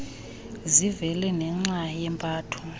zivele nenxa yempatho